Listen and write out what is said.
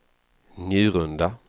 Njurunda